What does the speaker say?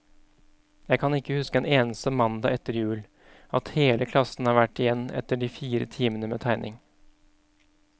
Jeg kan ikke huske en eneste mandag etter jul, at hele klassen har vært igjen etter de fire timene med tegning.